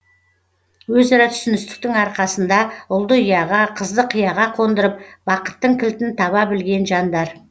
өзара түсіністіктің арқасында ұлды ұяға қызды қияға қондырып бақыттың кілтін таба білген жандар